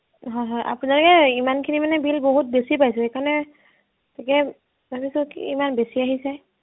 হয় হয় আপোনাৰ এয়াই ইমানখিনি মানে bill বহুত বেছি পাইছো সেইকাৰণে, তাকে ভাবিছো কি ইমান বেছি অহিছে